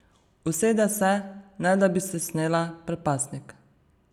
Usede se, ne da bi si snela predpasnik.